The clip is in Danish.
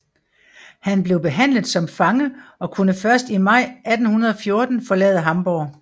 Han blev behandlet som fange og kunne først i maj 1814 forlade Hamborg